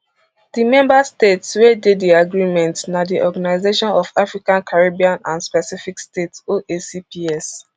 di member states wey dey di agreement na di organisation of african caribbean and pacific states oacps